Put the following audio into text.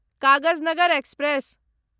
Kagaznagar express